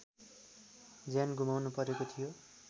ज्यान गुमाउनुपरेको थियो